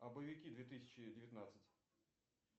а боевики две тысячи девятнадцать